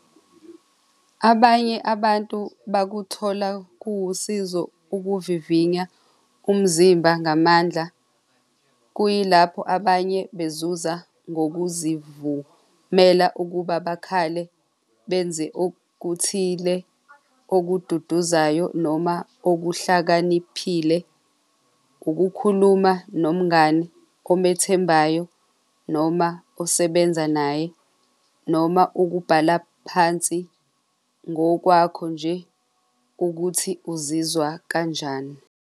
Abanye abantu bakuthola kuwusizo ukuvivinya umzimba ngamandla, kuyilapho abanye bezuza ngokuzivumela ukuba bakhale benze okuthile okududuzaya noma okuhlakaniphile. Ukukhuluma nomngani omethembayo noma osebenza naye noma ukubhala phansi ngokwakho nje ukuthi uzizwa kanjani.